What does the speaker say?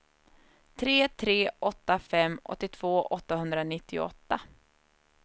tre tre åtta fem åttiotvå åttahundranittioåtta